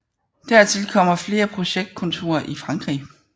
Dertil kommer flere projektkontorer i Frankrig